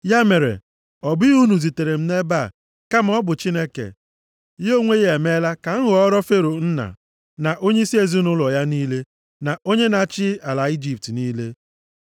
“Ya mere, ọ bụghị unu zitere m nʼebe a, kama ọ bụ Chineke. Ya onwe ya emeela ka m ghọọrọ Fero nna, na onyeisi ezinaụlọ ya niile, na onye na-achị ala Ijipt niile.